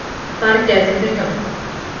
Þar gætu þeir hjálpað.